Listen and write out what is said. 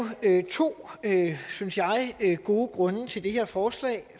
to synes jeg gode grunde til det her forslag